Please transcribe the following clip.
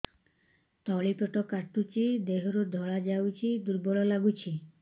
ତଳି ପେଟ କାଟୁଚି ଦେହରୁ ଧଳା ଯାଉଛି ଦୁର୍ବଳ ଲାଗୁଛି